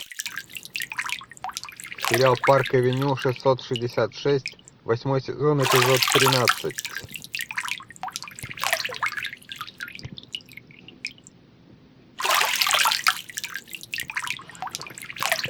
сериал парк авеню шестьсот шестьдесят шесть восьмой сезон эпизод тринадцать